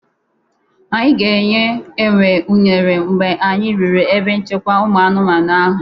Anyị ga-enye enwe uner mgbe anyị ruru ebe nchekwa ụmụ anụmanụ ahụ.